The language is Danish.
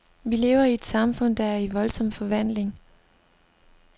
Vi lever i et samfund, der er i voldsom forvandling.